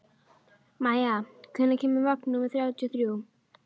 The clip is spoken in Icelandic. Maia, hvenær kemur vagn númer þrjátíu og þrjú?